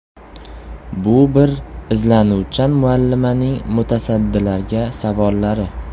Bu bir izlanuvchan muallimaning mutasaddilarga savollari.